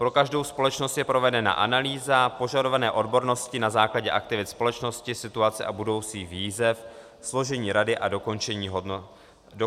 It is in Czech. Pro každou společnost je provedena analýza požadované odbornosti na základě aktivit společnosti, situace a budoucích výzev, složení rady a dokončených hodnocení rady.